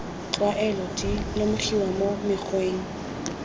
tlwaelo di lemogiwa mo mokgweng